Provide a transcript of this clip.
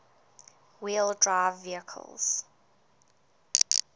wheel drive vehicles